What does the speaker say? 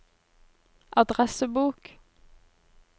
adressebok